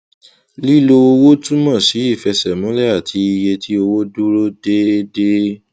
lílo owó túmọ sí ìfẹsẹmúlẹ àti iye tí owó dúró déédéé